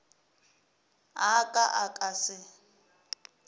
a ka a ka se